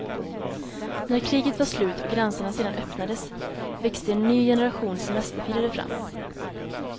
När kriget var slut och gränserna sedan öppnades växte en ny generation semesterfirare fram.